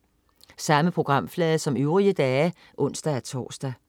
Samme programflade som øvrige dage (ons-tors)